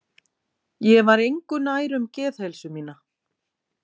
Ég var engu nær um geðheilsu mína.